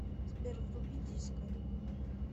сбер вруби диско